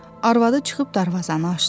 Arvadı çıxıb darvazanı açdı.